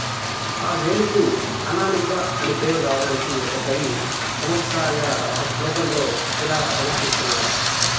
ఆ వేలుకు అనామిక అని పేరు రావటానికి ఒక కవి చమత్కారంగా ఒక శ్లోకంలో యిలా సమర్థిస్తున్నాడు